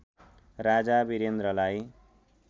राजा वीरेन्द्रलाई